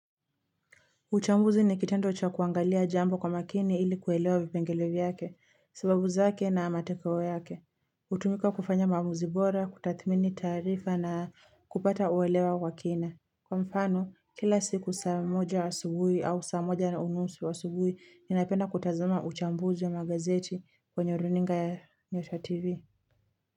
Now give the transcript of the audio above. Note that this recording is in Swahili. Uchambuzi ni kitendo cha kuangalia jambo kwa makini ili kuelewa vipengele vyake, sababu zake na matokeo yake. Utumika kufanya maamuzi bora, kutathmini tarifa na kupata uelewa kwa kina. Kwa mfano, kila siku saa moja asubuhi au saa moja na unusu asubuhi, ninaipenda kutazuma uchambuzi wa magazeti kwenye runinga ya nyota TV.